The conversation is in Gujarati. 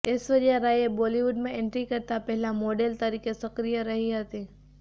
એશ્વર્યા રાયે બોલિવુડમાં એન્ટ્રી કરતા પહેલા મોડલ તરીકે સક્રિય રહી હતી